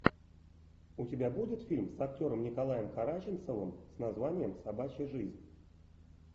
у тебя будет фильм с актером николаем караченцовым с названием собачья жизнь